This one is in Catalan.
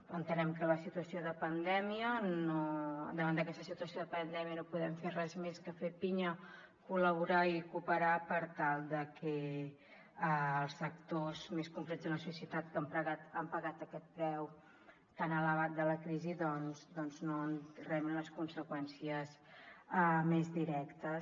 entenem que davant d’aquesta situació de pandèmia no podem fer res més que fer pinya col·laborar i cooperar per tal de que els sectors més concrets de la societat que han pagat aquest preu tan elevat de la crisi doncs no en rebin les conseqüències més directes